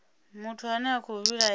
muthu ane a khou vhilaela